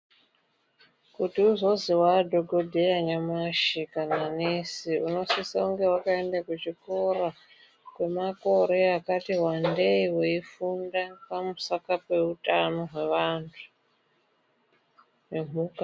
Kuti uzozwi waadhokodheya kana nesi nyamushi, unosise kunge wakaenda kuchikora kwemakore akati wandei weifunda pamusaka peutano hweantu nemhuka.